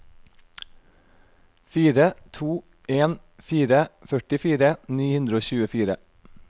fire to en fire førtifire ni hundre og tjuefire